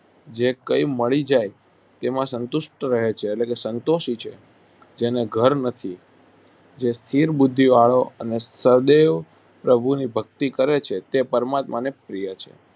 જે કંઈ મળી જાય તેમાં સંતુષ્ટ રહે છે એટલે કે સંતોષી છે જેને ઘર નથી જે સ્થિર બુદ્ધિવાળો અને સદેવ પ્રભુની ભક્તિ કરે છે તે પરમાત્માને પ્રિય છે